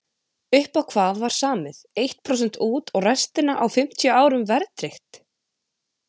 Upp á hvað var samið, eitt prósent út og restina á fimmtíu árum verðtryggt?